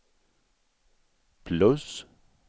plus